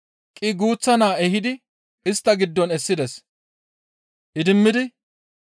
Qii guuththa naa ehidi istta giddon essides. Idimmidi,